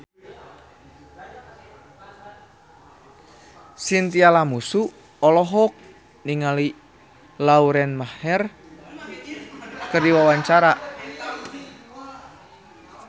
Chintya Lamusu olohok ningali Lauren Maher keur diwawancara